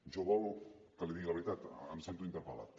jo vol que li digui la veritat em sento interpellat